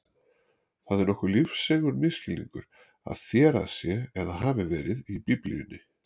Það er nokkuð lífseigur misskilningur að þérað sé eða hafi verið í Biblíunni.